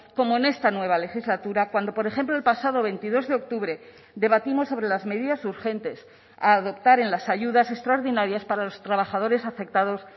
como en esta nueva legislatura cuando por ejemplo el pasado veintidós de octubre debatimos sobre las medidas urgentes a adoptar en las ayudas extraordinarias para los trabajadores afectados